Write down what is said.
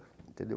Entendeu.